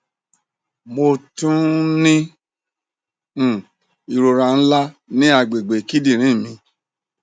mo tun n ni um irora nla ni agbegbe kidinrin mi